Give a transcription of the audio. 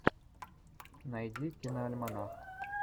найди киноальманах